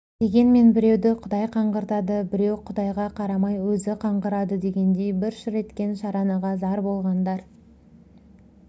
дегенмен біреуді құдай қаңғыртады біреу құдайға қарамай өзі қаңғырады дегендей бір шыр еткен шаранаға зар болғандар